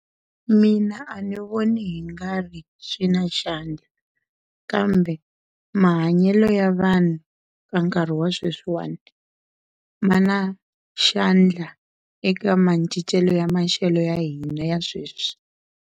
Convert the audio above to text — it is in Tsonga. Mina a ni voni hi nga ri swi na xandla kambe mahanyelo ya vanhu ka nkarhi wa sweswiwana ma na xandla eka macincelo ya maxelo ya hina ya sweswi.